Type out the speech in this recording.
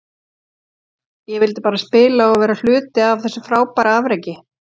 Ég vildi bara spila og vera hluti af þessu frábæra afreki.